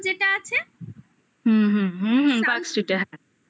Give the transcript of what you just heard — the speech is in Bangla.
হুম হুম হুম parkstreet